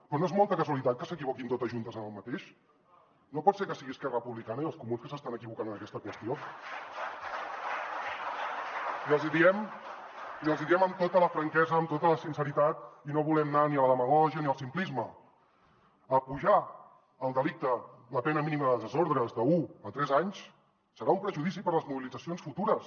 però no és molta casualitat que s’equivoquin totes juntes en el mateix no pot ser que siguin esquerra republicana i els comuns que s’estan equivocant en aquesta qüestió i els hi diem amb tota la franquesa amb tota la sinceritat i no volem anar ni a la demagògia ni al simplisme apujar el delicte la pena mínima de desordres d’un a tres anys serà un perjudici per a les mobilitzacions futures